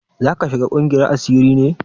Zaka shiga ƙungiyar asiri ne?